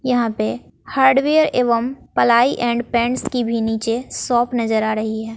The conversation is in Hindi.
यहां पे हार्डवेयर एवं पलाई एंड पेंट्स की भी नीचे शॉप नजर आ रही है।